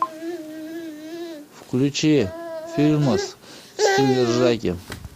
включи фильмас в стиле ржаки